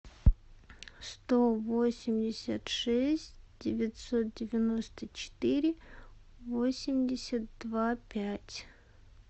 сто восемьдесят шесть девятьсот девяносто четыре восемьдесят два пять